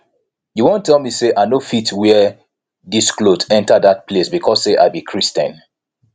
you wan tell me say i no fit wear dis cloth enter dat place because say i be christian